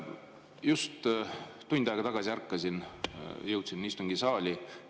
Just tund aega tagasi ärkasin, jõudsin nüüd istungisaali.